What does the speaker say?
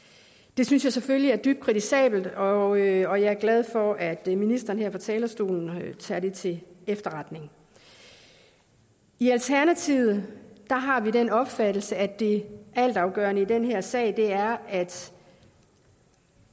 det synes jeg selvfølgelig er dybt kritisabelt og jeg er glad for at ministeren her på talerstolen tager det til efterretning i alternativet har vi den opfattelse at det altafgørende i den her sag er at